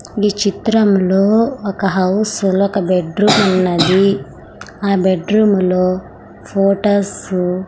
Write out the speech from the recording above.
ఈ చిత్రంలో ఒక హౌస్ లో ఒక బెడ్ రూమ్ ఉన్నది ఆ బెడ్ రూమ్ లో ఫొటోస్ --